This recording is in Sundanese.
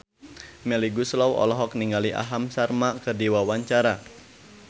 Melly Goeslaw olohok ningali Aham Sharma keur diwawancara